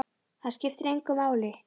Það skiptir engu máli!